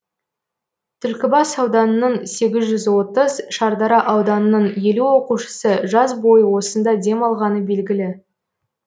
түлкібас ауданының сегіз жүз отыз шардара ауданының елу оқушысы жаз бойы осында демалғаны белгілі